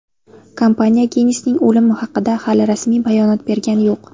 Kompaniya Gensning o‘limi haqida hali rasmiy bayonot bergani yo‘q.